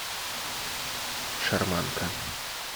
шарманка